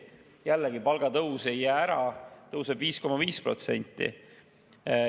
Jällegi, palgatõus ei jää ära, tõuseb 5,5%.